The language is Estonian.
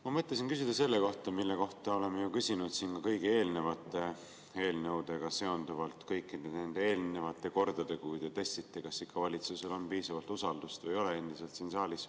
Ma mõtlesin küsida selle kohta, mille kohta me oleme ju küsinud ka kõigi eelnevate eelnõudega seonduvalt kõikidel nendel eelnevatel kordadel, kui te testite, kas ikka valitsusel on endiselt siin saalis piisavalt usaldust või ei ole.